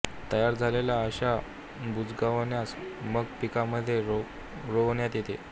तयार झालेल्या अश्या बुजगावण्यास मग पिकांमध्ये रोवण्यात येते